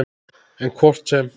En hvort sem